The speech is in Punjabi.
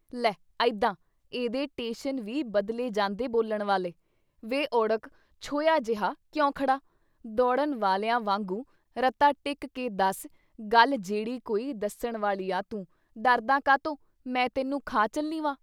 ਲੈ ਅਈਦਾਂ! ਇਹਦੇ ਟੇਸ਼ਨ ਵੀ ਬਦਲੇ ਜਾਂਦੇ ਬੋਲਣ ਵਾਲ਼ੇ। ਵੇ ਉੜਕ ਛੋਹਿਆ ਜਿਹਾ ਕਿਉਂ ਖੜ੍ਹਾਂ? ਦੌੜ੍ਹਨ ਵਾਲਿਆਂ ਵਾਂਗੂੰ ਰਤਾ ਟਿਕ ਕੇ ਦੱਸ ਗੱਲ ਜੇੜੀ ਕੋਈ ਦੱਸਣ ਵਾਲੀ ਆ ਤੂੰ, ਡਰਦਾ ਕਾਤੋਂ? ਮੈਂ ਤੈਨੂੰ ਖਾ ਚੱਲੀ ਵਾਂ।"